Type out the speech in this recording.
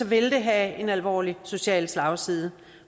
vil det have en alvorlig social slagside